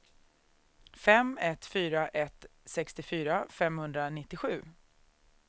fem ett fyra ett sextiofyra femhundranittiosju